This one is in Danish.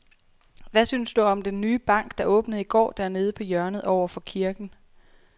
Hvad synes du om den nye bank, der åbnede i går dernede på hjørnet over for kirken?